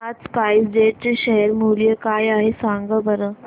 आज SpiceJet चे share मूल्य काय आहे सांगा बरं